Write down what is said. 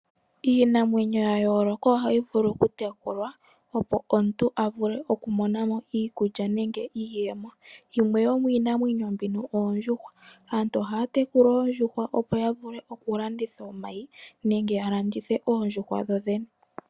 Iinamwenyo ya yooloka ohayi vulu okutekulwa opo omuntu a vule okumonamo iikulya nenge iiyemo. Yimwe yo miinamwenyo mbino oondjuhwa. Aantu ohaya tekula oondjuhwa opo ya vule okulanditha omayi nenge ya landithe oondjuhwa dho dhene.